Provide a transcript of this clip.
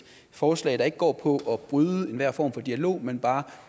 forslag der ikke går på at bryde enhver form for dialog men bare